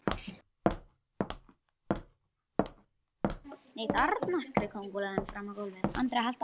Nei, þarna skreið kóngulóin fram á gólfið.